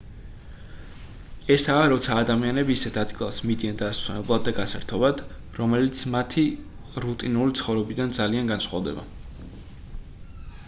ესაა როცა ადამიანები ისეთ ადგილას მიდიან დასასვენებლად და გასართობად რომელიც მათი რუტინული ცხოვრებიდან ძალიან განსხვავდება